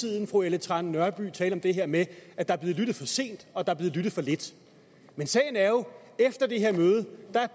tiden fru ellen trane nørby tale om det her med at der er blevet lyttet for sent og der er blev lyttet for lidt men sagen er jo at efter det her møde